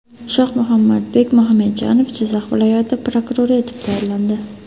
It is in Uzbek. Shohmuhammadbek Muxamedjanov Jizzax viloyati prokurori etib tayinlandi.